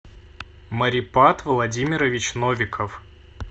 марипад владимирович новиков